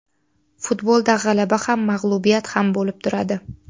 Futbolda g‘alaba ham, mag‘lubiyat ham bo‘lib turadi.